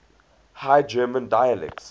high german dialects